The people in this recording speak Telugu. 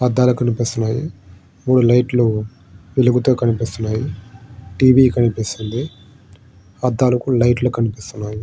అద్దాలు కనిపిస్తున్నాయి. మూడు లైట్లు వెలుగుతూ కనిపిస్తున్నాయి. టీవీ కనిపిస్తుంది. అద్దాలుకు లైట్లు కనిపిస్తున్నాయి.